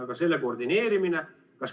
Aga selle koordineerimine?